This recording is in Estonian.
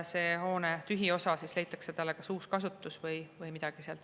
Selle hoone tühjale osale leitakse kas uus kasutus või midagi sellist.